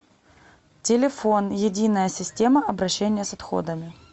телефон единая система обращения с отходами